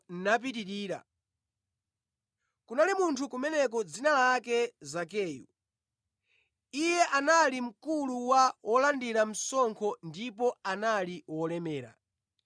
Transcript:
Kunali munthu kumeneko dzina lake Zakeyu; iye anali mkulu wa wolandira msonkho ndipo anali wolemera.